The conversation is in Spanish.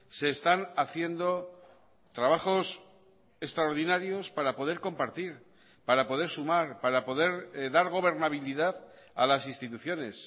se están haciendo trabajos extraordinarios para poder compartir para poder sumar para poder dar gobernabilidad a las instituciones